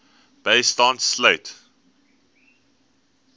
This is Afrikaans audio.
bystand sluit